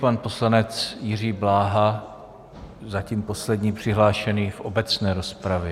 Pan poslanec Jiří Bláha, zatím poslední přihlášený v obecné rozpravě.